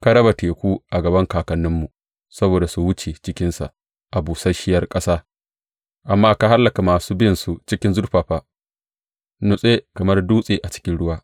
Ka raba teku a gaban kakanninmu, saboda su wuce cikinsa a busasshiyar ƙasa, amma ka hallaka masu binsu cikin zurfafa, nutse kamar dutse a cikin ruwa.